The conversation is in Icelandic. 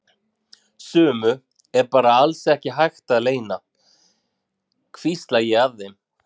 Sumu er bara alls ekki hægt að leyna, hvísla ég að þeim.